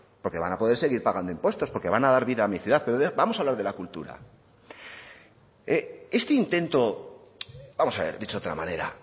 porque van a poder seguir pagando impuestos porque van a dar vida a mi ciudad pero vamos a hablar de la cultura este intento vamos a ver dicho de otra manera